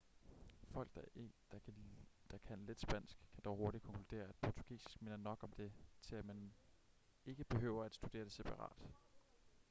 folk der kan lidt spansk kan dog hurtigt konkludere at portugisisk minder nok om det til at man ikke behøver at studere det separat